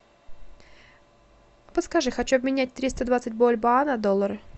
подскажи хочу обменять триста двадцать бальбоа на доллары